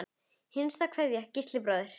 Hinsta kveðja, Gísli bróðir.